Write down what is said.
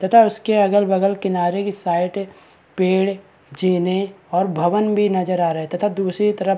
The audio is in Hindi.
तथा उसके अगल-बगल किनारे के साइट पेड़ जेने और भवन भी नजर आ रहे तथा दुसरी तरफ --